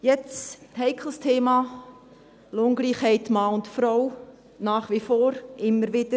Jetzt ein heikles Thema: Lohngleichheit zwischen Mann und Frau – nach wie vor, immer wieder.